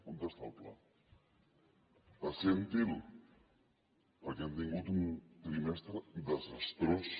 on està el pla presenti’l perquè hem tingut un trimestre desastrós